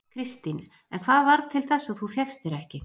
Kristín: En hvað varð til þess að þú fékkst þér ekki?